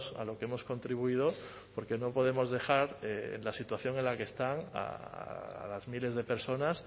a lo que hemos contribuido porque no podemos dejar la situación en la que están a las miles de personas